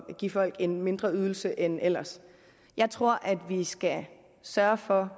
give folk en mindre ydelse end ellers jeg tror at vi skal sørge for